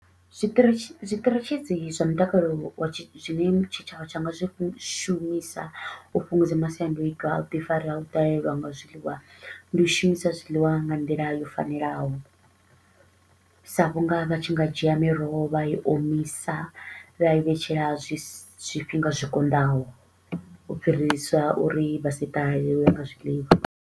Zwiṱiritshi zwiṱiritshisi zwa mutakalo wa tshi zwi ne tshitshavha tsha nga zwi shumisa u fhungudza masiandoitwa a u ḓi fara a u ḓalelwa nga zwiḽiwa, ndi u shumisa zwiḽiwa nga nḓila yo fanelaho. Sa vhu nga vha tshi nga dzhia miroho vha i omisa, vha i vhetshela zwi zwifhinga zwikonḓaho, u fhirisa uri vha si ṱahalelwe nga zwiḽiwa.